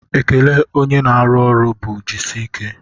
Ekele onye na-arụ ọrụ bụ jisike